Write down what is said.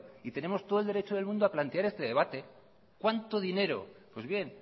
y tenemos todo el derecho del mundo a plantear este debate cuánto dinero pues bien